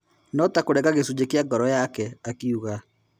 No-ta-kũrenga gĩcunjĩ kĩa ngoro yake," akiuga.